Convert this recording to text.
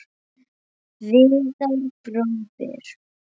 Viðar bróðir.